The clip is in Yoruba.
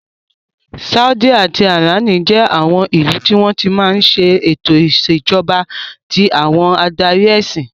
Sáúdí àti ìránì jẹ́ àwọn ìlú tí wọ́n ti máa ń ṣe ètò ìṣèjọba tí àwọn adarí ẹsìn.